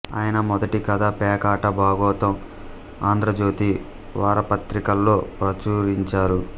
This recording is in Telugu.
ఆయన మొదటి కథ పేకాట బాగోతం ఆంధ్రజ్యోతి వారపత్రికలో ప్రచురించారు